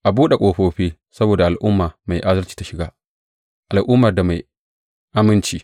A buɗe ƙofofi saboda al’umma mai adalci ta shiga, al’ummar da mai aminci.